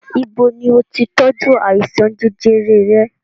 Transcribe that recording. Ibo ni o ti tọ́jú àìsàn jẹjẹrẹ rẹ?